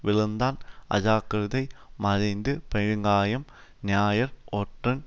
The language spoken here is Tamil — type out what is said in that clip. விழுந்தான் அஜாக்கிரதை மறைந்து பெருங்காயம் ஞாயிறு ஒற்றன்